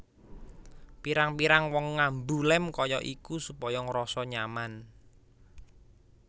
Pirang pirang wong ngambu lem kaya iku supaya ngrasa nyaman